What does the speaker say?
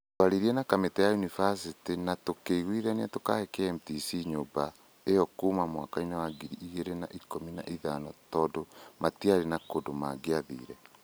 “Twaririe na kamĩtĩ ya yunivasĩtĩ na tũkĩiguithania kũhe KMTC nyũmba ĩyo kuuma mwaka wa ngiri igĩrĩ na ikũmi na ithano tondũ matiarĩ na kũndũ mangĩathiire.